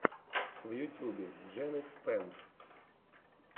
в ютюбе джен икс пен